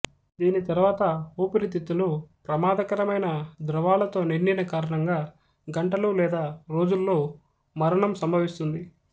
దీని తరువాత ఊపిరితిత్తులు ప్రమాదకరమైన ద్రవాలతో నిండిన కారణంగా గంటలు లేదా రోజుల్లో మరణం సంభవిస్తుంది